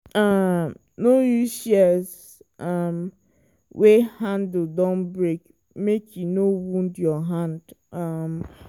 um no use shears um wey handle don break make e no wound your hand. um